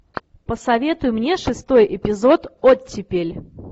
посоветуй мне шестой эпизод оттепель